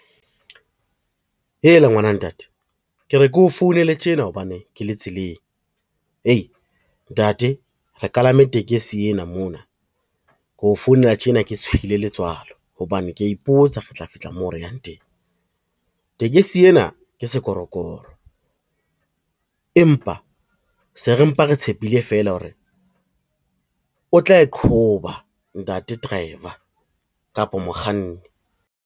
Heela ngwana ntate, ke re keo founela tjena hobane ke le tseleng. Hei ntate re kalame tekesi ena mona keo founela tjena ke tshohile letswalo, hobane kea ipotsa re tla fihla moo re yang teng. Tekesi ena ke sekorokoro, empa se re mpe re tshepile feela hore o tla e qhoba ntate driver kapa mokganni.